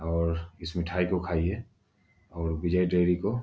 और इस मिठाई को खाइये और विजय डेरी को --